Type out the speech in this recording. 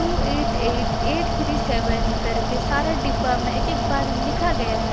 To eight eight eight three seven करके सारा डिब्बा में एक एक एक बार लिखा गया है।